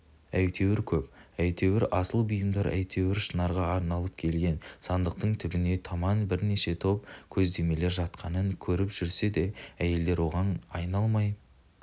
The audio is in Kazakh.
әйтеуір көп әйтеуір асыл бұйымдар әйтеуір шынарға арналып келген сандықтың түбіне таман бірнеше топ кездемелер жатқанын көріп жүрсе де әйелдер оған айналмай